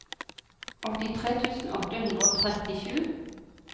åttitre tusen åtte hundre og trettisju